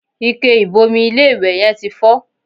Ike ìbomi ilé-ìwẹ̀ yẹn ti fọ́